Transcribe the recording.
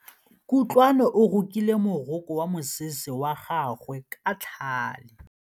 Kutlwanô o rokile morokô wa mosese wa gagwe ka tlhale.